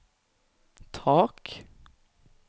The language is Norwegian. tak